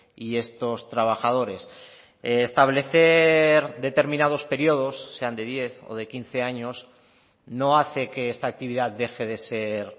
y estos trabajadores establecer determinados periodos sean de diez o de quince años no hace que esta actividad deje de ser